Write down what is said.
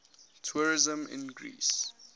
tourism in greece